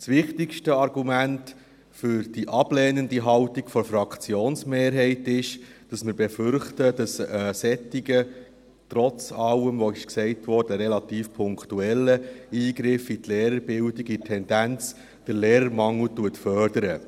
Das wichtigste Argument für die ablehnende Haltung der Fraktionsmehrheit ist, dass wir befürchten, dass ein solcher – trotz allem, was gesagt wurde – relativ punktueller Eingriff in die Lehrerbildung den Lehrermangel in der Tendenz fördert.